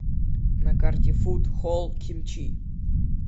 на карте фуд холл кимчи